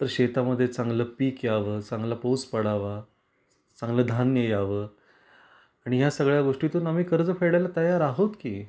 तर शेता मध्ये चांगल पीक याव, चांगला पाऊस पडावा, चांगल धान्य याव आणि या सगळ्या गोष्टीतून आम्ही कर्ज फेडायला तयार आहोत की